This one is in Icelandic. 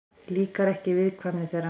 Líkar ekki viðkvæmni þeirra.